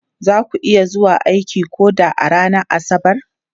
Za ku iya zuwa aiki ko da a ranar Asabar?